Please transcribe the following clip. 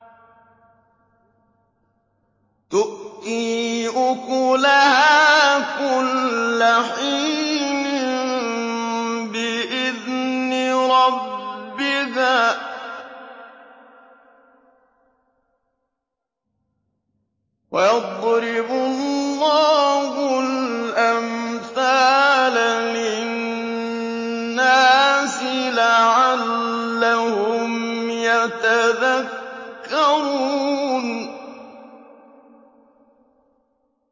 تُؤْتِي أُكُلَهَا كُلَّ حِينٍ بِإِذْنِ رَبِّهَا ۗ وَيَضْرِبُ اللَّهُ الْأَمْثَالَ لِلنَّاسِ لَعَلَّهُمْ يَتَذَكَّرُونَ